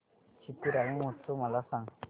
चिथिराई महोत्सव मला सांग